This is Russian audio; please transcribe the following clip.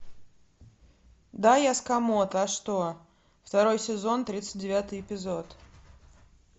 да я сакамото а что второй сезон тридцать девятый эпизод